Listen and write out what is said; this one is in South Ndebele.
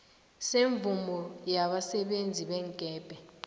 semvumo yabasebenzi beenkepeni